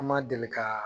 An ma deli ka